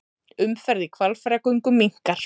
Umferð í Hvalfjarðargöngum minnkar